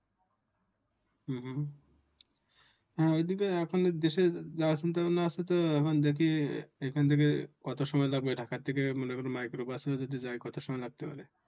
হ্যাঁ ঔদিকে এখন দেশের এখন দেখি এইখান থেকে কত সময় যাবে ঢাকার থেকে মনে করেন মাইক্রোবাসে ও যদি যায় কত সময় লাগতে পারে